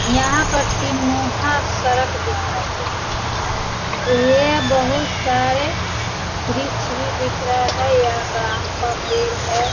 यहाँ पर तीन-मुहां सड़क दिखाई दे रहा है ये बहुत सारे वृक्ष भी दिख रहे हैं यहाँ आम का पेड़ है।